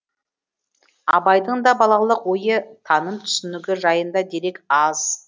абайдың да балалық ойы таным түсінігі жайында дерек аз